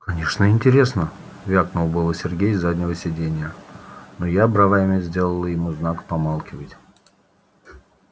конечно интересно вякнул было сергей с заднего сидения но я бровями сделала ему знак помалкивать